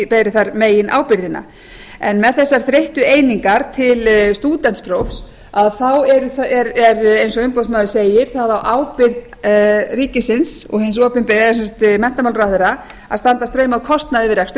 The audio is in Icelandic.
beri þar meginábyrgðina en með þessar breyttu einingar til stúdentsprófs þá eru eins og umboðsmaður segir það á ábyrgð ríkisins eða sem sagt menntamálaráðherra að standa straum af kostnaði við